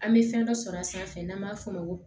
An bɛ fɛn dɔ sɔrɔ a sanfɛ n'an b'a f'o ma ko